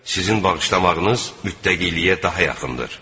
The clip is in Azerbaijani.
Sizin bağışlamağınız mütqəqiliyə daha yaxındır.